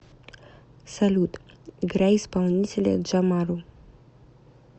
салют играй исполнителя джамару